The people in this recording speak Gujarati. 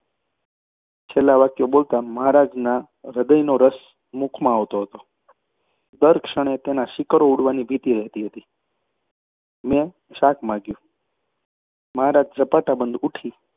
છેલ્લાં વાક્યો બોલતાં મહારાજના હૃદયનો રસ મુખમાં આવતો હતો અને દર ક્ષણે તેના શીકરો ઊડવાની ભીતિ રહેતી હતી. મેં શાક માગ્યું. મહારાજ ઝપાટાબંધ ઊઠી